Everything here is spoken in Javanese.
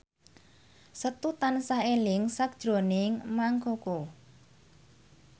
Setu tansah eling sakjroning Mang Koko